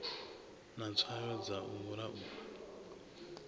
na tswayo dza u laula